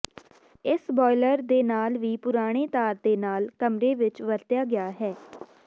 ਇਸ ਬਾਇਲਰ ਦੇ ਨਾਲ ਵੀ ਪੁਰਾਣੇ ਤਾਰ ਦੇ ਨਾਲ ਕਮਰੇ ਵਿੱਚ ਵਰਤਿਆ ਗਿਆ ਹੈ